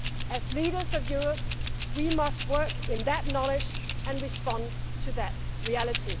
As leaders of Europe, we must work in that knowledge and respond to that reality.